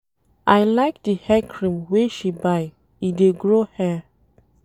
I like di hair cream wey she buy, e dey grow hair.